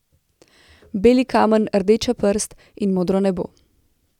Beli kamen, rdeča prst in modro nebo.